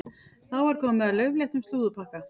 Þá er komið að laufléttum slúðurpakka.